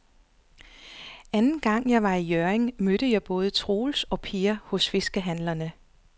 Anden gang jeg var i Hjørring, mødte jeg både Troels og Per hos fiskehandlerne.